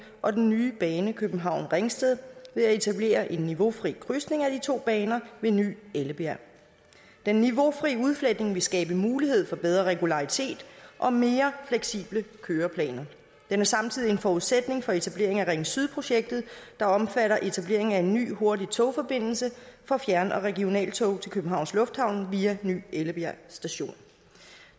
og den nye bane københavn ringsted ved at etablere en niveaufri krydsning af de to baner ved ny ellebjerg den niveaufri udfletning vil skabe mulighed for bedre regularitet og mere fleksible køreplaner den er samtidig en forudsætning for etablering af ring syd projektet der omfatter etableringen af en ny hurtig togforbindelse for fjern og regionaltog til københavns lufthavn via ny ellebjerg station